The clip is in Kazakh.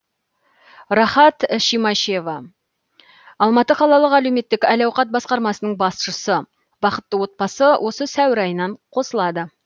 рахат шимашева алматы қалалық әлеуметтік әл ауқат басқармасының басшысы бақытты отбасы осы сәуір айынан қосылады